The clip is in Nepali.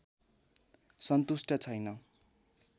सन्तुष्ट छैन